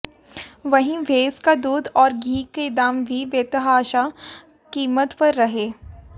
वहीं भैंस का दूध और घी के दाम भी बेतहाशा कीमत पर रहे